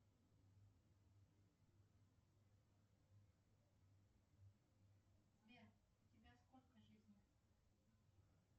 сбер у тебя сколько жизней